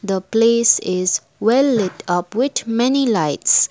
the place is well light up with many lights.